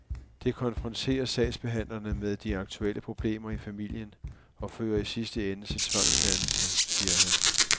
Det konfronterer sagsbehandlerne med de aktuelle problemer i familien og fører i sidste ende til tvangsfjernelse, siger han.